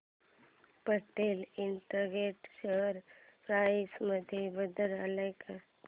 Patel Integrated share price मध्ये बदल आलाय का